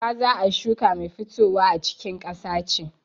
Gwaza a shuka mai fitowa a cikin ƙasa ce.